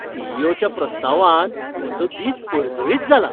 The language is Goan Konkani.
सी. ई. ओ. च्या प्रस्तावान म्हजो दीस परजळीत जाला